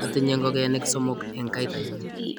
atinye ngokenik somok eng' kaitanyu